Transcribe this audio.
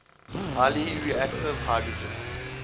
highly reactive hydrogen